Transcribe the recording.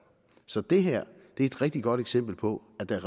så det her er et rigtig godt eksempel på at der